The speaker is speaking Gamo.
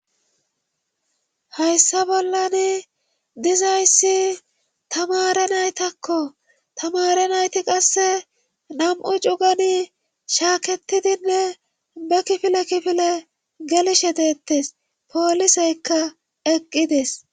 Hayssa bollani dizayssi tamare naytakko tamare nayti qasse nam'u cugani shaaketidinne be kifile kifile gelishe deettes pooliseykka eqqides.